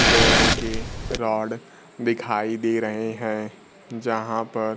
लोहे के रोड दिखाई दे रहे हैं जहां पर--